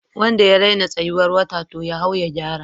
Wanda ya raina tsayuwar wata, to ya hau ya gyara